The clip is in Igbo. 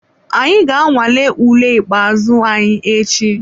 Anyị ga-anwale ule ikpeazụ anyị echi.